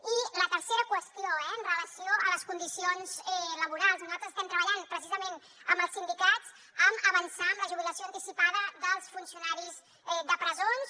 i la tercera qüestió eh en relació amb les condicions laborals nosaltres estem treballant precisament amb els sindicats per avançar en la jubilació anticipada dels funcionaris de presons